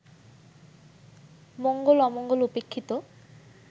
মঙ্গল-অমঙ্গল উপেক্ষিত